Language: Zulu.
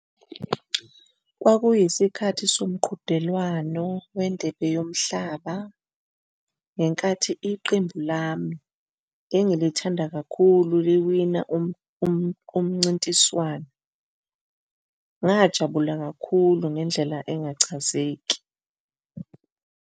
Kwakuyisikhathi somqhudelwano wendebe yomhlaba ngenkathi iqembu lami engilithanda kakhulu liwina umncintiswano. Ngajabula kakhulu ngendlela engachazeki.